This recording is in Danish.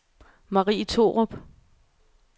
Marie Thorup